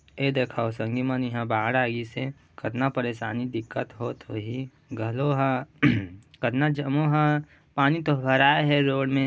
ए देखव संगी मन इहा बाढ़ आ गिस हे कतना परेशानी दिक्कत होत होही घलो ह कतना जम्मो ह पानी तो भराये हे रोड में--